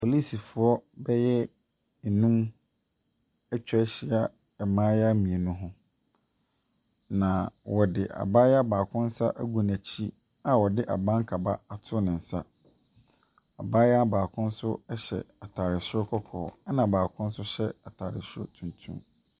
Polisifoɔ bɛyɛ nnum ɛtwahyia mmayewa mmienu ho. Na ɔde abaayewa baako nsa ɛgu nɛkyi a ɔde abankaba ato ne nsa. Abaayewa baako nso ɛhyɛ ɛsoro ataade kɔkɔɔ ɛna baako nso hyɛ ataade soro tuntum.